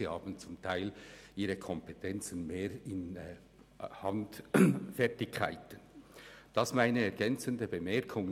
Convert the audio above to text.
Viele haben grössere Kompetenzen im handwerklichen Bereich.